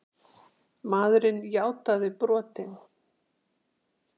Maðurinn játaði brotin